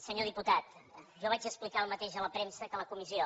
senyor diputat jo vaig explicar el mateix a la premsa que a la comissió